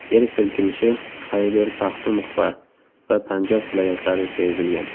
Yer silkinishi Xayber-Paxtunxva va Panjob viloyatlarida sezilgan.